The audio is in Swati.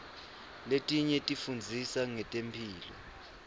letinye tifundzisa ngetemphilo